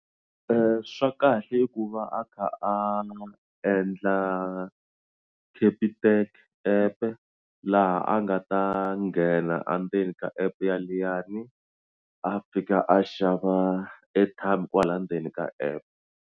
Swa kahle i ku va a kha a endla Capitec-e app-e laha a nga ta nghena endzeni ka app ya liyani a fika a xava airtime kwala ndzeni ka app.